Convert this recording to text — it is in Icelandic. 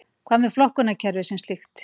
Hvað með flokkakerfið sem slíkt